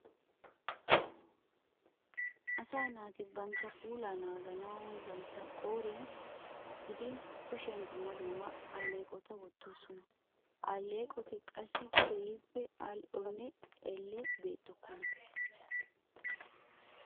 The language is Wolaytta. Asaa naati bantta puulaa naaganawu bantta qooriyan gidin kushiyan dumma dumma alleeqota wottoosona. Ha alleeqoti qassi keehippe al"onne elle beettokkona.